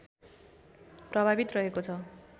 प्रभावित रहेको छ